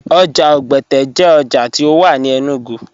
Oja Ogbẹte jẹ oja ti o wà ní Enugu.